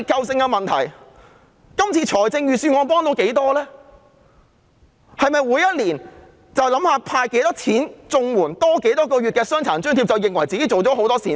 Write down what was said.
是否每年只須考慮增加多少綜援金額或多發多少個月的傷殘津貼，便以為自己做了很多善事？